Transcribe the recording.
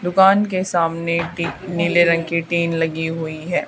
दुकान के सामने नीले रंग की टीन लगी हुई है।